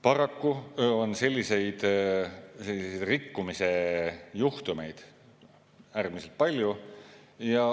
Paraku on selliseid rikkumise juhtumeid äärmiselt palju.